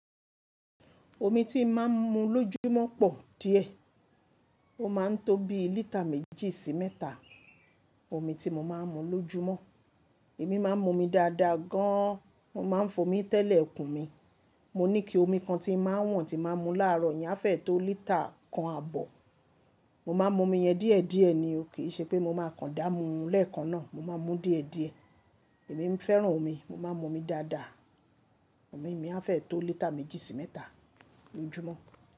Omi tí máa ń mu lójúmọ́ pọ̀ díẹ̀. Ó máa ń tó bí lítà méjì sí mẹ́ta omi tí mo máa ń mu lójúmọ́. Èmi máa ń mu omi dáadáa gan an. Mo máa ń fò mí tẹ́lẹ̀ ikùn mí. Mo ní ike omi kan tí máa ń wọ́n tí máa ń mu láàrọ̀. Iyẹn á fẹ́ tó lítà kan àbọ̀. Mo máa mu omi yẹn díẹ̀díẹ̀ ni, ò kí í ṣe pé mo máa kan dá mu lẹ́ẹ̀kan náà, mo máa ń mú díẹ̀díẹ̀. Èmi ń fẹ́ràn omi. Mo máa ń mu omi dáadáa. Omi mi á fẹ́ tó lítà méjì sí mẹ́ta lójúmọ́.